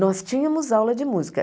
Nós tínhamos aula de música.